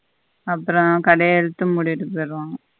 அப்புறம் கடைய இழுத்து மூடிட்டு போயிடு வாங்க